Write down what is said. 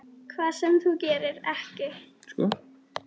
Hvað sem þú gerir, ekki.